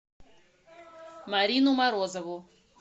марину морозову